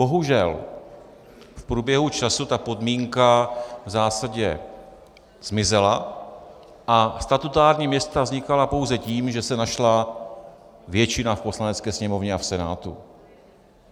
Bohužel v průběhu času ta podmínka v zásadě zmizela a statutární města vznikala pouze tím, že se našla většina v Poslanecké sněmovně a v Senátu.